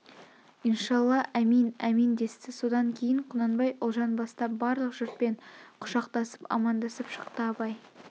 иншалла әмин әмин десті содан кейін құнанбай ұлжан бастап барлық жұртпен құшақтасып амандасып шықты абай